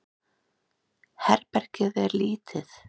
Herbergið er lítið.